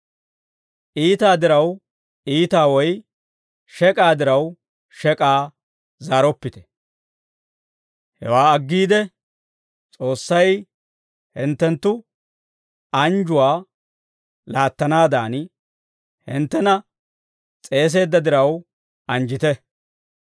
Iitaa diraw iitaa woy shek'aa diraw shek'aa zaaroppite; hewaa aggiide, S'oossay hinttenttu anjjuwaa laattanaadan hinttena s'eeseedda diraw, anjjite.